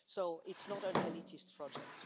So, it's not an elitist project.